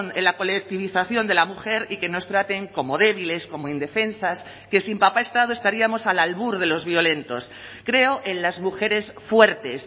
en la colectivización de la mujer y que nos traten como débiles como indefensas que sin papá estado estaríamos al albur de los violentos creo en las mujeres fuertes